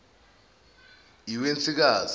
iwensikazi